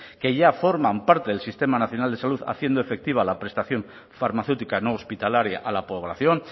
que ya forman parte del sistema nacional de salud haciendo efectiva la prestación farmacéutica no hospitalaria a la población